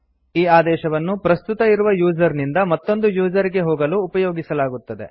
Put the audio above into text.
ಈ ಆದೇಶವನ್ನು ಪ್ರಸ್ತುತ ಇರುವ ಯೂಸರ್ ಇಂದ ಮತ್ತೊಂದು ಯೂಸರ್ ಗೆ ಹೋಗಲು ಉಪಯೋಗಿಸಲಾಗುತ್ತದೆ